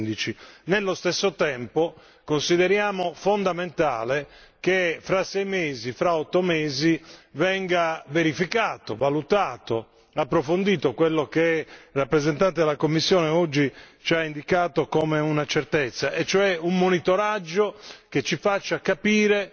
2015. Nello stesso tempo consideriamo fondamentale che fra sei mesi, fra otto mesi, venga verificato, approfondito quello che il rappresentante della Commissione oggi ci ha indicato come una certezza e cioè un monitoraggio che ci faccia capire